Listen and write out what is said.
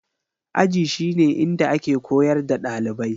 Aji shi ne inda ake koyar da ɗalibai